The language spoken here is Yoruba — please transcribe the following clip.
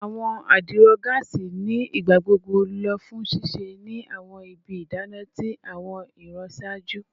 Awọn adiro gaasi ni igbagbogbo lo fun sise ni awọn ibi idana ti awọn iran iṣaaju